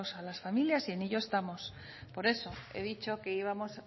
a las familias y en ello estamos por eso he dicho que íbamos